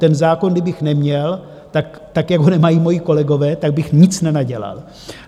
Ten zákon kdybych neměl, tak jak ho nemají moji kolegové, tak bych nic nenadělal.